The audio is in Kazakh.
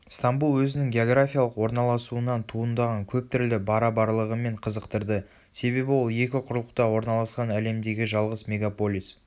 стамбул өзінің географиялық орналасуынан туындаған көптүрлі барабарлығымен қызықтырды себебі ол екі құрлықта орналасқан әлемдегі жалғыз мегаполис